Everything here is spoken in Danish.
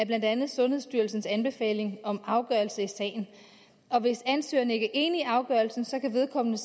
blandt andet sundhedsstyrelsens anbefaling om afgørelse i sagen og hvis ansøgeren ikke er enig i afgørelsen kan vedkommende